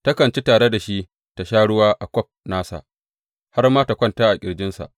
Takan ci tare da shi ta sha ruwa a kwaf nasa, har ma ta kwanta a ƙirjinsa.